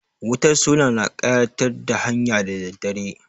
Wutar sola na ƙayatar da hanya da daddare.